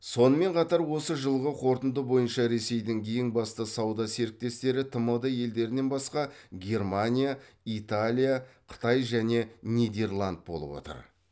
сонымен қатар осы жылғы қорытынды бойынша ресейдің ең басты сауда серіктестері тмд елдерінен басқа германия италия қытай және нидерланд болып отыр